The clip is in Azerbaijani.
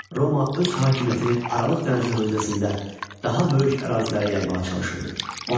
Roma öz hakimiyyətini Aralıq dənizi hövzəsində daha böyük ərazilərə yaymağa çalışırdı.